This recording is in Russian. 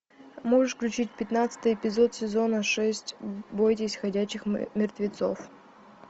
можешь включить пятнадцатый эпизод сезона шесть бойтесь ходячих мертвецов